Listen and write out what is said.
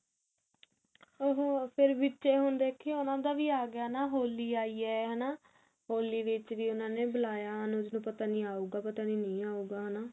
ਉਹ ਫ਼ੇਰ ਵਿੱਚ ਇਹ ਹੁੰਦਾ ਕੀ ਉਹਨਾਂ ਦਾ ਵੀ ਆ ਗਿਆ ਹੋਲੀ ਆਈ ਹੈ ਹਨਾ ਹੋਲੀ ਵਿੱਚ ਵੀ ਉਹਨਾਂ ਨੇ ਬੁਲਾਇਆ ਅਨੁਜ ਨੂੰ ਪਤਾ ਨੀ ਆਉਗਾ ਪਤਾ ਨੀ ਨਹੀ ਆਉਗਾ